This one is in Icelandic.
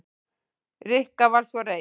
Rikka var svo reið.